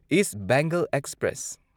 east Bengal express